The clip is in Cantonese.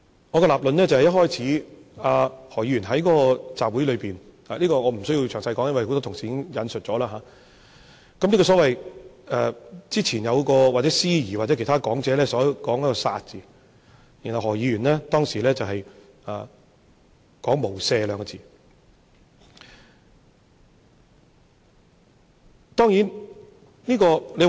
我的立論是，何議員在那個集會裏面——這我不會詳細說，因為剛才很多同事已經引述過——有一位司儀，或者其他講者，說出了"殺"字，然後何議員說出"無赦"兩個字。